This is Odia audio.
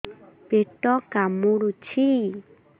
ପେଟ କାମୁଡୁଛି